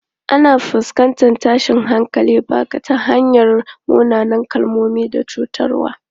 Ana fuskantar tashin hankalin baka ta hanyar munanan kalmomi da cutarwa.